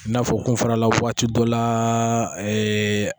I n'a fɔ kun fana la waati dɔ la